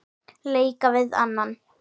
leika við annan